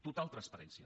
total transparència